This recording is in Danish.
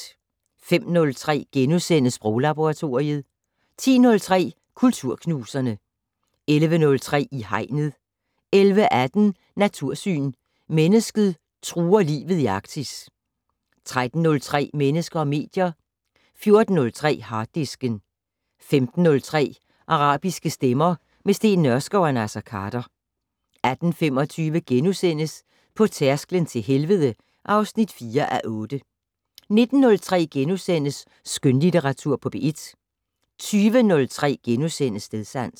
05:03: Sproglaboratoriet * 10:03: Kulturknuserne 11:03: I Hegnet 11:18: Natursyn: Mennesket truer livet i Arktis 13:03: Mennesker og medier 14:03: Harddisken 15:03: Arabiske stemmer - med Steen Nørskov og Naser Khader 18:25: På tærsklen til helvede (4:8)* 19:03: Skønlitteratur på P1 * 20:03: Stedsans *